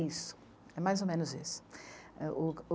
Isso, é mais ou menos isso. O...